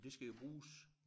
Men det skal jo bruges